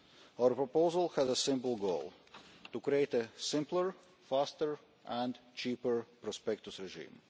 Our proposal has a simple goal to create a simpler, faster and cheaper prospectus regime.